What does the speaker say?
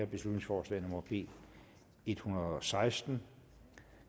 beslutningsforslag nummer b en hundrede og seksten